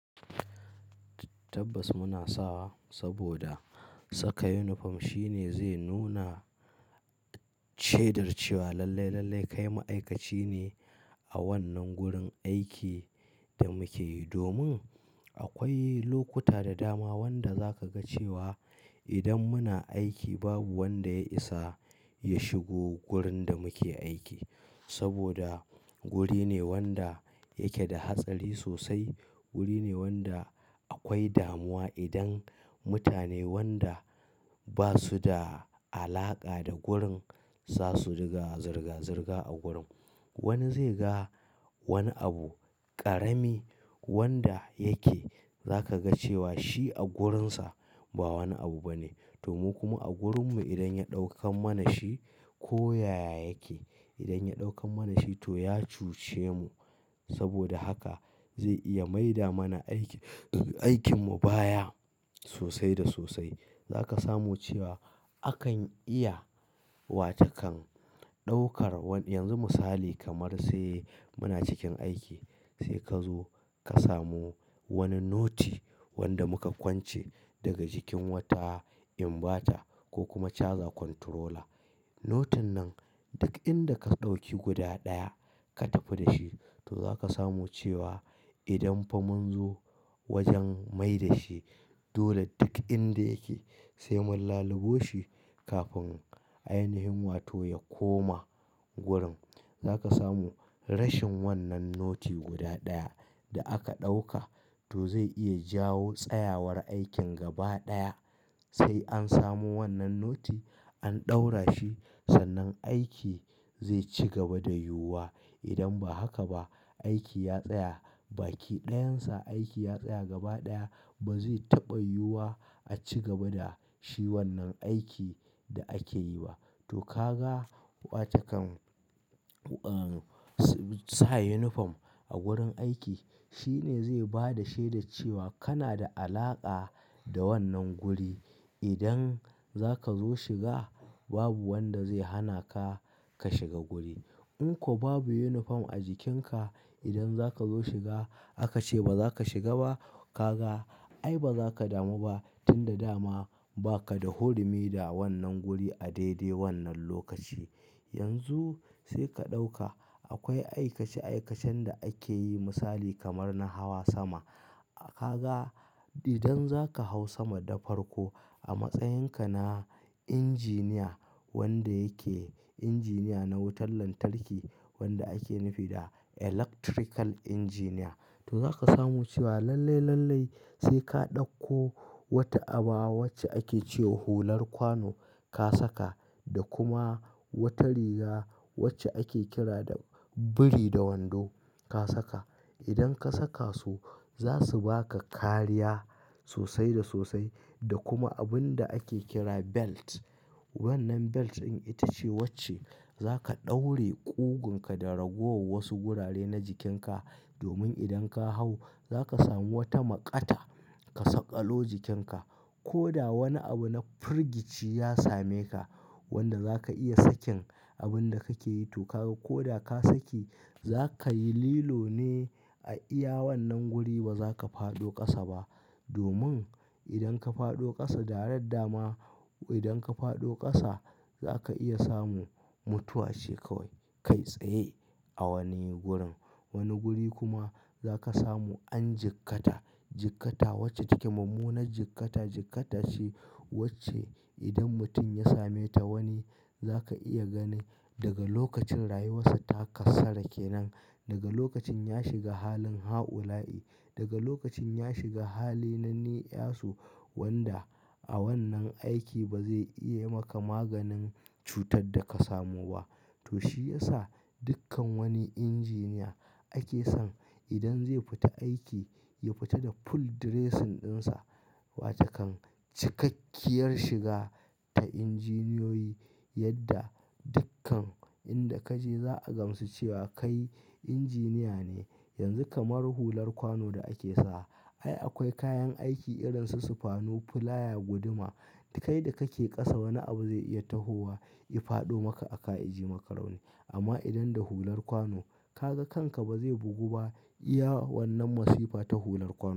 Tabbas muna sawa saboda saka uniform shine zai nuna shedar cewa lallai, lallai kai ma'aikaci ne a wannan gurin aikin da muke yi. Domin akwai lokuta da dama wanda za ka ga cewa idan muna aiki babu wanda ya isa ya shigo wurin da muke aiki. Saboda wuri ne wanda yake da hatsari sosai. Wuri ne wanda akwai damuwa idan mutane wanda ba su da alaƙa da wurin za su riga zirga-zirga a gurin. Wani zai ga wani abu ƙarami wanda yake za ka ga cewa shi a gurinsa ba wani abu bane. To kuma a gurinmu idan ya ɗaukan mana shi ko yaya yake, idan ya ɗaukan mana shi to ya cuce mu. Saboda haka zai iya maida mana aikin, aikinmu baya sosai da sosai. Za ka samu cewa akan iya wa ta kan ɗaukar wani, yanzu misali kamar sai muna cikin aiki sai ka zo ka samu wani noti wanda muka kwance daga cikin wata inbata ko kuma caja kontorola. Notin nan duk inda ka ɗauki guda ɗaya ka tafi da shi to za ka samu cewa idan fa mun zo wajen maida shi dole duk inda yake sai mun laluboshi kafin ainahin yin wato ya koma gurin. Za ka samu rashin wannan noti guda ɗaya da aka ɗauka to zai iya jawo tsayawar aikin gaba ɗaya. Sai an samu wannan noti an ɗaura shi sannan aiki zai ci gaba da yiwuwa. Idan ba haka ba aiki ya tsaya, baki ɗayansa aiki ya tsaya gaba ɗaya ba zai taɓa yiwuwa a ci gaba da shi wannan aikin da ake yi ba. To ka ga wa ta kan, sa unifom a gurin aiki shine zai ba da shaida cewa kana da alaƙa da wannan guri. Idan za ka zo shiga babu wanda zai hana ka, ka shiga guri. In ko babu unifom a jikinka idan za ka zo shiga aka ce ba za ka shiga ba, ka ga ai ba za ka damu ba tun da dama ba ka da hurumi da wannan guri a daidai wannan lokaci. Yanzu sai ka ɗauka akwai aikace-aikacen da ake yi misali kamar na hawa sama. Ka ga idan za ka hau sama da farko a matsayinka na injiniya wanda yake injiniya na wutar lantarki wanda ake nufi da electrical injiniya. To za ka samu cewa lallai, lallai sai ka ɗauko wata aba wacce ake ce wa hular kwano ka saka da kuma wata riga wacce ake kira da biri da wando ka saka. Idan ka saka su za su ba ka kariya sosai da sosai da kuma abun da ake kira belt. Wannan belt din ita ce wacce za ka daure ƙugunka da ragowar wasu gurare na jikinka domin idan ka hau za ka samu wata maƙata ka sakalo jikinka. Ko da wani abu na firgici ya same ka wanda za ka iya sakin abun da kake yi to ka ga ko da ka saki za kayi lilo ne a iya wannan guri ba za ka fado ƙasa ba. Domin idan ka fado ƙasa, direct dama idan ka fado ƙasa za ka iya samu mutuwa ce kawai kai tsaye a wani gurin. Wani guri kuma za ka samu an jikkata. Jikkata wacce take mummunar jikkata, jikkata ce wacce idan mutum ya same ta wani za ka iya gani daga lokacin rayuwarsa ta kassara kenan. Daga lokacin ya shiga halin ha'ulayi, daga lokacin ya shiga hali na ni 'yasu wanda a wannan aiki ba zai iya maka maganin cutar da ka samu ba. To shi ya sa dukkan wani injiniya ake son idan zai fita aiki ya fita da ful diresin ɗinsa. Wa ta kan cikakkiyar shiga ta injiniyoyi yadda dukkan inda ka je za a gamsu cewa kai injiniya ne. Yanzu kamar hular kwano da ake sawa ai akwai kayan aiki irin su sifanu, fulaya, guduma. Kai da kake ƙasa wani abu zai iya tahowa ya fado maka aka yaji maka rauni. Amma idan da hular kwano ka ga kanka ba zai bugu ba iya wannan masifa ta hular kwano.